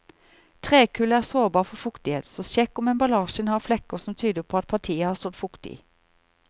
Trekull er sårbar for fuktighet, så sjekk om emballasjen har flekker som tyder på at partiet har stått fuktig.